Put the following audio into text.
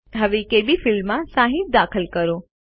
હવે કેબી ફિલ્ડમાં 60 દાખલ કરો